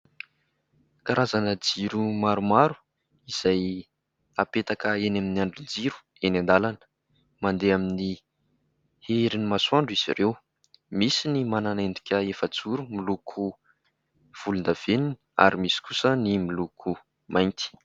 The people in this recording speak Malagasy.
Karazana jiro maromaro izay hapetaka eny amin'ny andrin-jiro eny an-dàlana, mandeha amin'ny herin'ny masoandro izy ireo: misy ny manana endrika efa-joro miloko volon-davenona ary misy kosa ny miloko mainty.